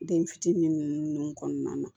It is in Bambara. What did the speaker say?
Den fitinin nunnu kɔnɔna na